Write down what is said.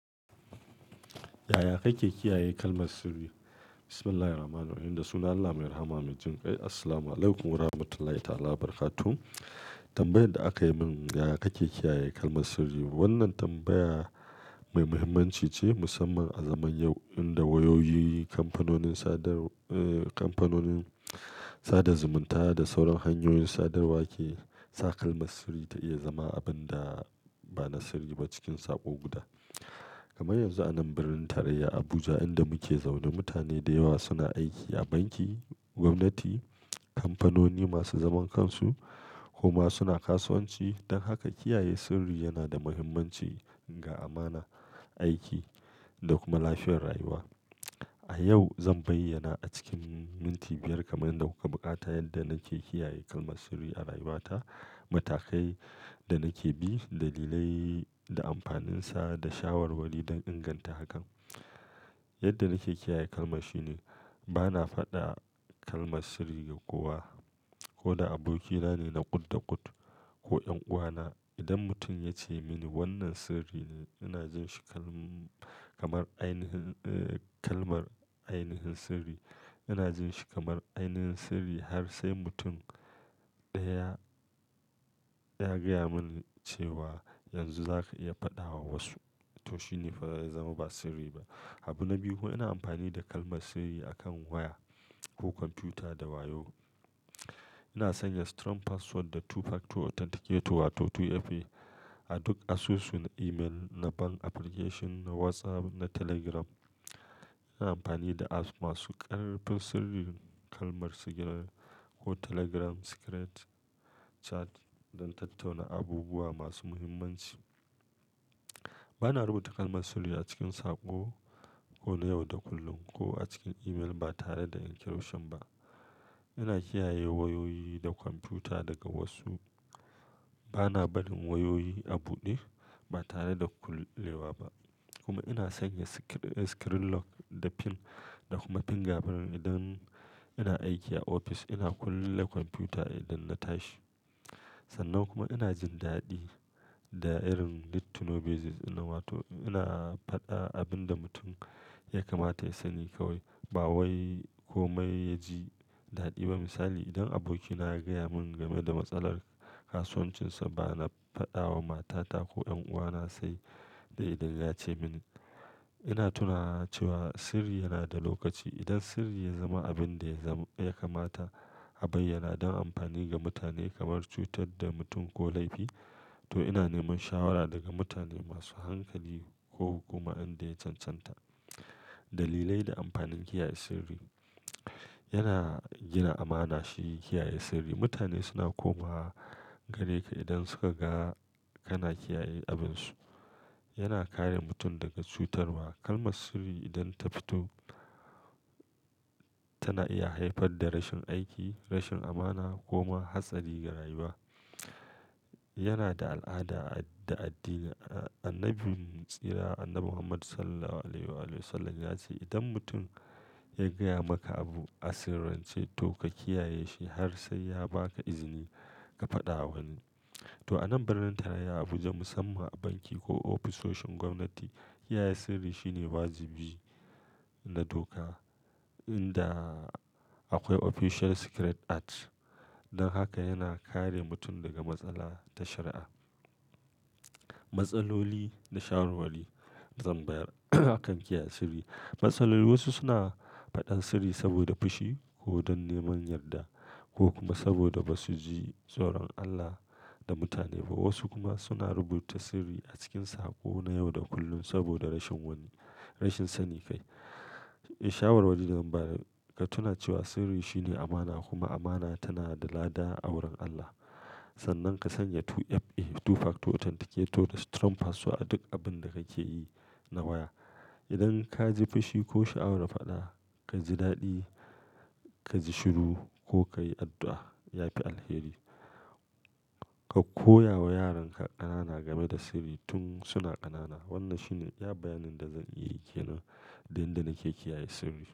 Yaya kake kiyaye kalmar sirri? Bismillahi Rahmani Rahim, da sunan Allah mai Rahama, mai Jin kai. Assalamualaikum Warahmatullahi Ta'ala Wabarakatuh. Tambayar da aka yi min, yaya kake kiyaye kalmar sirri? Wannan tambaya mai muhimmanci ce musamman a zaman yau inda wayoyi, kamfanonin sadar, eh, kamfanonin sada zumunta da sauran hanyoyin sadarwa ke, sa kalmar sirri ta iya zama abin da ba na sirri ba cikin sa'o' guda. Kamar yanzu a nan birnin tarayya Abuja inda muke zaune, mutane da yawa suna aiki a banki, gwamnati, kamfanoni masu zaman kansu ko ma suna kasuwanci. Don haka kiyaye sirri yana da muhimmanci ga amana, aiki da kuma lafiyar rayuwa. A yau zan bayyana a cikin minti biyar kamar yadda kuka buƙata yadda nake kiyaye kalmar sirri a rayuwata, matakai da nake bi, dalilai da amfaninsa da shawarwari don inganta hakan. Yadda nake kiyaye kalma shine bana faɗa kalmar sirri ga kowa ko da abokina ne na kut-da-kut ko ƴan uwana. Idan mutum ya ce mini wannan sirri ne, ina jin shi kalm, kamar ainihin, eh, kalmar ainihin sirri. Ina jin shi kamar ainihin sirri har sai mutum ɗaya ya gaya mani cewa yanzu za ka iya faɗawa wasu. To shine faa ya zama ba sirri ba. Habu na biyu, ina amfani da kalmar sirri akan waya ko kwamfuta da wayo. Ina sanya strong password da two factor authenticator wato 2FA a duk asusu, na email, na bank application, na WhatsApp, na Telegram. Ina amfani da apps masu ƙarɓar sirrin kalmar sigiri ko Telegram secret chat don tattauna abubuwa masu muhimmanci. Bana rubuta kalmar sirri a cikin saƙo ko na yau da kullun ko a cikin email ba tare da encryption ba. Ina kiyaye wayoyi da kwamfuta daga wasu. Bana barin wayoyi a buɗe ba tare da kullewa ba. Kuma ina sanya screen lock da PIN da kuma fingerprint idan ina aiki a ofis, ina kulle kwamfuta idan na tashi. Sannan kuma ina jin daɗi da irin need to know basis nan wato ina faɗa abin da mutum ya kamata ya sani kawai, ba wai ko mai ya ji daɗi ba. Misali, idan abokina ya gaya mun game da matsalar kasuwancinsa, bana faɗawa matata ko ƴanuwana sai da idan ya ce mini. Ina tuna cewa sirri yana da lokaci. Idan sirri ya zama abin da ya kamata a bayyana don amfani ga mutane kamar cutar da mutum ko laifi, to ina neman shawara daga mutane masu hankali ko hukuma inda ya cancanta. Dalilai da amfanin kiyaye sirri. Yana gina amana shi kiyaye sirri. Mutane suna komawa gare ka idan suka ga kana kiyaye abinsu. Yana kare mutum daga cutarwa. Kalmar sirri idan ta fito tana iya haifar da rashin aiki, rashin amana ko ma hatsari ga rayuwa. Yana da al'ada da addini. A Annabi tsira, Annabi Muhammad Sallallahu Alaihi Wasallam ya ce, "idan mutum ya gaya maka abu a sirrance, to ka kiyaye shi har sai ya ba ka izini ka faɗa wani." To a nan birnin tarayya Abuja musamman a banki ko ofisoshin gwamnati, kiyaye sirri shine wajibi na doka inda akwai Official Secrets Act. Don haka yana kare mutum daga matsala ta shari'a. Matsaloli da shawarwari zan bayar akan kiyaye sirri. Matsaloli wasu suna faɗar sirri saboda fushi ko don neman yarda ko kuma saboda ba su ji tsoron Allah da mutane ba. Wasu kuma suna rubuta sirri a cikin saƙo na yau da kullun saboda rashin wani, rashin sanin kai. Shawarwari da zan ba da tuna cewa sirri shine amana kuma amana tana da lada a wurin Allah. Sannan ka sanya 2FA, two factor authenticator da strong password a duk abin da kake yi na waya. Idan ka ji fushi ko sha'awar faɗa, ka ji daɗi, ka ji shiru ko ka yi addu'a, ya fi alheri. Ka koya wa yaran ka ƙanana game da sirri tun suna ƙanana. Wannan shine ya bayanin da zan iya ikena don yadda nake kiyaye sirri.